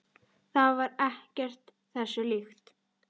Það var ekkert þessu líkt.